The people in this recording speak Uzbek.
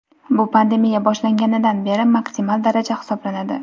Bu pandemiya boshlanganidan beri maksimal daraja hisoblanadi.